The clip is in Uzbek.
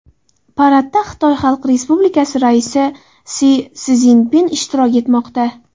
Paradda Xitoy Xalq Respublikasi raisi Si Szinpin ishtirok etmoqda.